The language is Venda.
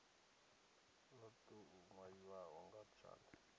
lo tou nwaliwaho nga tshanda